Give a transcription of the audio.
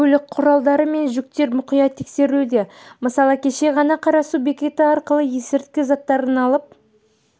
көлік құралдары мен жүктер мұқият тексерілуде мысалы кеше ғана қарасу бекеті арқылы есірткі заттарын алып